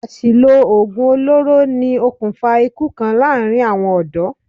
Àsìlò òògùn oloro ni okùnfà ikú kan láàárín àwọn ọ̀dọ́.